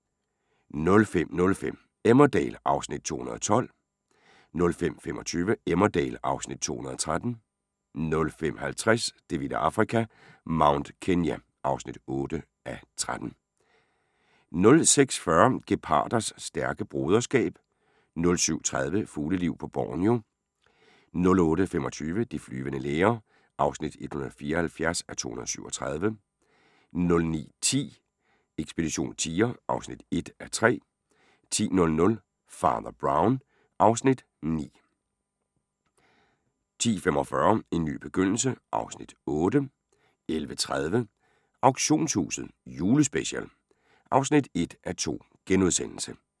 05:05: Emmerdale (Afs. 212) 05:25: Emmerdale (Afs. 213) 05:50: Det vilde Afrika - Mount Kenya (8:13) 06:40: Geparders stærke broderskab 07:30: Fugleliv på Borneo 08:25: De flyvende læger (174:237) 09:10: Ekspedition tiger (1:3) 10:00: Fader Brown (Afs. 9) 10:45: En ny begyndelse (Afs. 8) 11:30: Auktionshuset – Julespecial (1:2)*